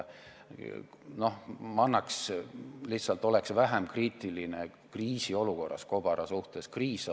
Ma lihtsalt olen kriisiolukorras kobara suhtes vähem kriitiline.